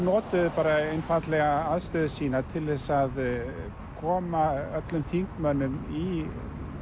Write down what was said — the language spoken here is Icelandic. notuðu einfaldlega aðstöðu sína til að koma öllum þingmönnum í